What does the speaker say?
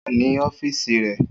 O wa ni ọfiisi rẹ.